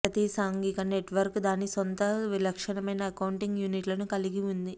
ప్రతి సాంఘిక నెట్వర్క్ దాని సొంత విలక్షణమైన అకౌంటింగ్ యూనిట్లను కలిగి ఉంది